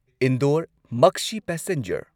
Indore Maksi passenger